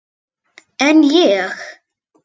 En ég.